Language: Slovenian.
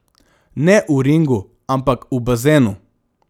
Ne v ringu, ampak v bazenu.